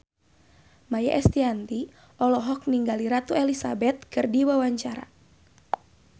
Maia Estianty olohok ningali Ratu Elizabeth keur diwawancara